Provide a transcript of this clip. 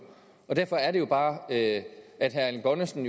og derfor er det jo bare at at herre erling bonnesen